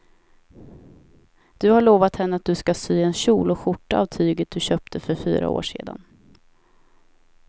Du har lovat henne att du ska sy en kjol och skjorta av tyget du köpte för fyra år sedan.